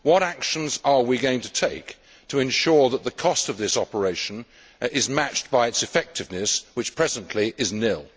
What actions are we going to take to ensure that the cost of this operation is matched by its effectiveness, which presently is nil?